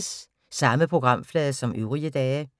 Samme programflade som øvrige dage